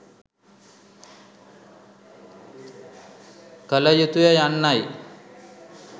කළ යුතුය යන්නයි